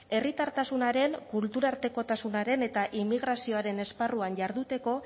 herritartasunaren kulturartekotasunaren eta immigrazioaren esparruan jarduteko